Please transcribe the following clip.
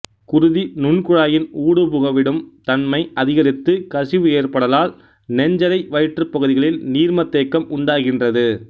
குருதி நுண் குழாயின் ஊடுபுகவிடும் தன்மை அதிகரித்து கசிவு ஏற்படலால் நெஞ்சறை வயிற்றுப் பகுதிகளில் நீர்மத்தேக்கம் உண்டாகின்றது